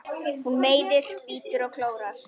Hún meiðir, bítur og klórar.